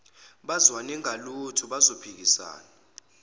bazwane ngalutho bazophikisana